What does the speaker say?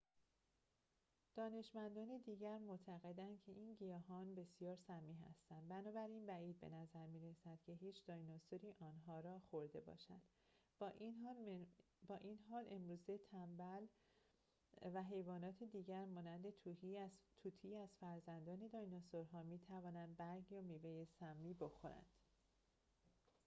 دانشمندان دیگر معتقدند که این گیاهان بسیار سمی هستند، بنابراین بعید به نظر می رسد که هیچ دایناسوری آنها را خورده باشد، با این حال امروزه تنبل و حیوانات دیگر مانند طوطی از فرزندان دایناسورها می توانند برگ یا میوه سمی بخورند